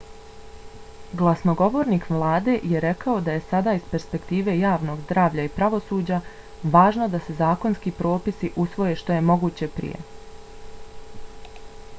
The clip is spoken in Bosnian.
glasnogovornik vlade je rekao da je sada iz perspektive javnog zdravlja i pravosuđa važno da se zakonski propisi usvoje što je moguće prije.